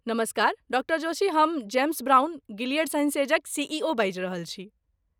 नमस्कार, डॉ जोशी हम जेम्स ब्राउन, गिलियड साइंसेजक सी.ई.ओ. बाजि रहल छी।